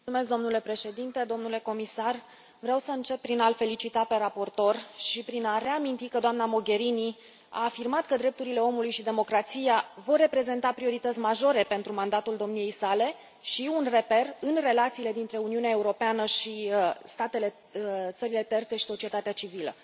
Domnule președinte, domnule comisar, vreau să încep prin a l felicita pe raportor și prin a reaminti că doamna Mogherini a afirmat că drepturile omului și democrația vor reprezenta priorități majore pentru mandatul domniei sale și un reper în relațiile dintre Uniunea Europeană și țările terțe și societatea civilă.